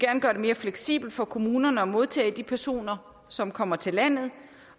gøre det mere fleksibelt for kommunerne at modtage de personer som kommer til landet